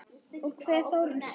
Ég kveð Þórunni að sinni.